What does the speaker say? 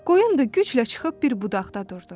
Qoyun da güclə çıxıb bir budaqda durdu.